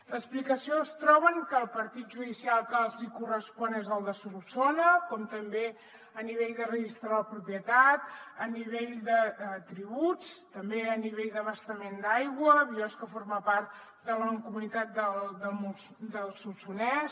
l’explicació es troba en que el partit judicial que els hi correspon és el de solsona com també a nivell de registre de la propietat a nivell de tributs també a nivell d’abastament d’aigua biosca forma part de la mancomunitat del solsonès